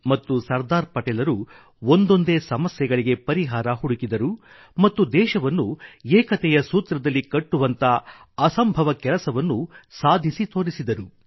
ಮತ್ತು ಸರ್ದಾರ್ ಪಟೇಲ್ರು ಒಂದೊಂದೇ ಸಮಸ್ಯೆಗಳಿಗೆ ಪರಿಹಾರ ಹುಡುಕಿದರು ಮತ್ತು ದೇಶವನ್ನು ಏಕತೆಯ ಸೂತ್ರದಲ್ಲಿ ಕಟ್ಟುವಂಥ ಅಸಂಭವ ಕೆಲಸವನ್ನು ಸಾಧಿಸಿ ತೋರಿದರು